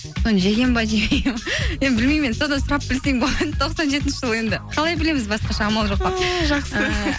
соны жеген бе білмеймін содан сұрап білсең болады тоқсан жетінші жылы енді қалай білеміз басқаша амал жоқ қой жақсы